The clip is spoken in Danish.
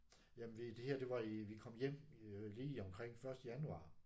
Jamen vi det her det var i vi kom hjem lige omkring første januar